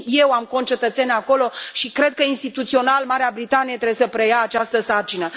Și eu am concetățeni acolo și cred că, instituțional, Marea Britanie trebuie să preia această sarcină.